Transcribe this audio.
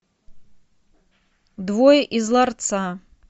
двое из ларца